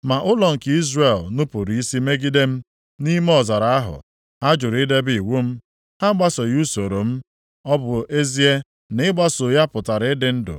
“ ‘Ma ụlọ nke Izrel nupuru isi megide m. Nʼime ọzara ahụ, ha jụrụ idebe iwu m. Ha agbasoghị usoro m, ọ bụ ezie na ịgbaso ya pụtara ịdị ndụ.